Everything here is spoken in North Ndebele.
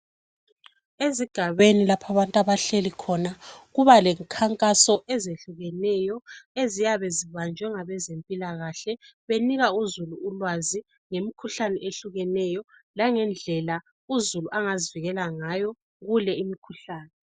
Ezigabeni lapho abantu abahleli khona, kuba lemikhankaso ezehlukeneyo eziyabe zibanjwe ngabezempilakahle benika uzulu ulwazi ngemikhuhlane eyehlukeneyo, langendlela uzulu angazivikela ngayo kule imikhuhlane.